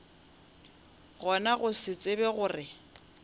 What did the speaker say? gona go se tsebe gore